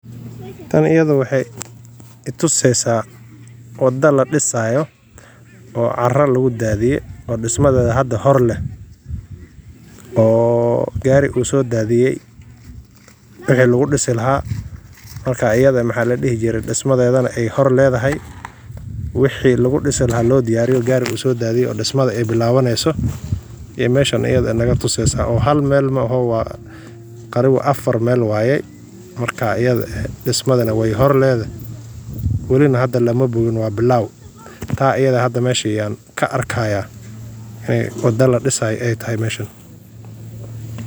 Taan ayad waxay itusaysa, wada ladisayo oo cara lagu dadinaya oo dismadada hada horlah, oo gar usodadiya, wixi lagu disi lahay, marka ayad mxa ladihi jire disma dodana ay hore uldahay wixi lagu disilahay lo diyariya oo gar usodadiya dismada ay bilawanysoh, mashan ayadah naa tusa sah hal mal maaho, taani wa afar mal waya marka ayada ah dismada nah waya hore ladahay, walih hadanah lama bogin wa bilaw, taa ayada masha ka argaya wada la disayo ay tahay mashan.